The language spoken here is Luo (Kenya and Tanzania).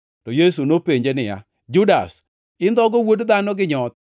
to Yesu nopenje niya, “Judas, indhogo Wuod Dhano gi nyoth?”